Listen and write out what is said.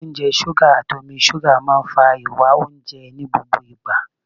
Oúnjẹ ṣúgà, àti omi ṣúgà máa ń fa ìwá oúnjẹ ní gbogbo ìgbà.